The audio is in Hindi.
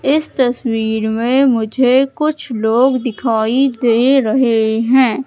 इस तस्वीर में मुझे कुछ लोग दिखाई दे रहे हैं।